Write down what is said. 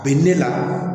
Bi ne la